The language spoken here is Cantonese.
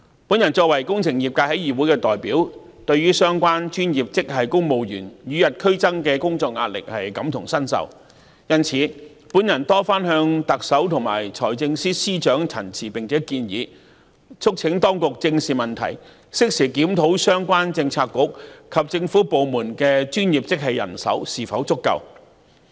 我作為工程界的議會代表，對於相關專業職系公務員與日俱增的工作壓力感同身受，因此，我多番向特首及財政司司長陳情和建議，促請當局正視問題，適時檢討相關政策局和政府部門的專業職系人手是否足夠。